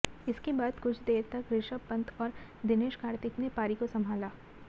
इसके बाद कुछ देर तक रिषभ पंत और दिनेश कार्तिक ने पारी को संभाला